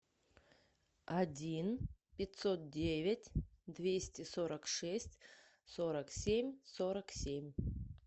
один пятьсот девять двести сорок шесть сорок семь сорок семь